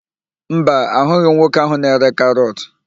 Mba, ahụghị m nwoke ahụ na-ere karọt.